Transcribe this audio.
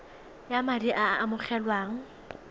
ya madi a a amogelwang